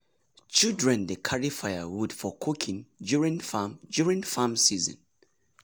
children dey carry firewood for cooking during farm during farm season.